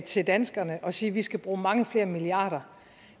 til danskerne og sige at vi skal bruge mange flere milliarder